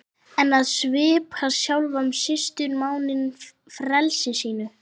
En að svipta sjálfan sýslumanninn frelsi sínu!